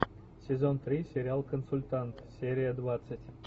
сезон три сериал консультант серия двадцать